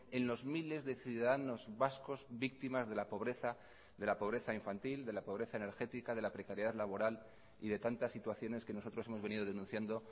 en los miles de ciudadanos vascos víctimas de la pobreza de la pobreza infantil de la pobreza energética de la precariedad laboral y de tantas situaciones que nosotros hemos venido denunciando